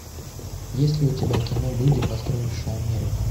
есть ли у тебя кино люди построившие америку